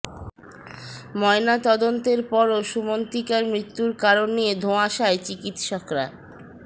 ময়না তদন্তের পরও সুমন্তিকার মৃত্যুর কারণ নিয়ে ধোঁয়াশায় চিকিত্সকরা